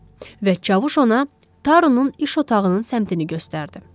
Və çavuş ona Tarunun iş otağının səmtini göstərdi.